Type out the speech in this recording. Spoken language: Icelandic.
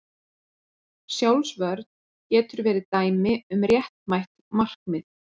Sjálfsvörn getur verið dæmi um réttmætt markmið.